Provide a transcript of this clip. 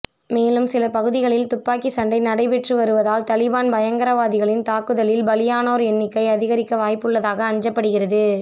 மேலும் சில பகுதிகளிலும் துப்பாக்கி சண்டை நடைபெற்று வருவதால் தலிபான் பயங்கரவாதிகளின் தாக்குதலில் பலியானோர் எண்ணிக்கை அதிகரிக்க வாய்ப்புள்ளதாக அஞ்சப்படுகிறது